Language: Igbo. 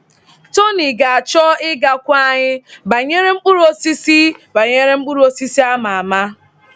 Tony ga-achọ ịgwakwu anyị banyere mkpụrụ osisi banyere mkpụrụ osisi a ama ama.